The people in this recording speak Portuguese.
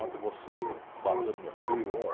Ontem você bateu no meu filho.